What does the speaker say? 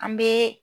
An bɛ